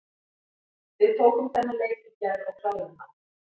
Við tókum þennan leik í gær og kláruðum hann.